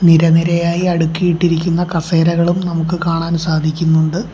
നിര നിരയായി അടുക്കി ഇട്ടിരിക്കുന്ന കസേരകളും നമുക്ക് കാണാൻ സാധിക്കുന്നുണ്ട്.